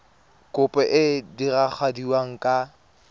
kopo e e diragadiwa ka